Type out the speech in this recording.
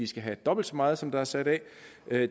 skal have dobbelt så meget som der er sat af